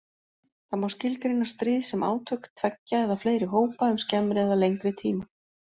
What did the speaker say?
Það má skilgreina stríð sem átök tveggja eða fleiri hópa um skemmri eða lengri tíma.